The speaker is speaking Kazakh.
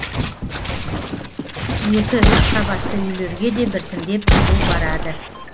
екі үш қабатты үйлерге де біртіндеп жылу барады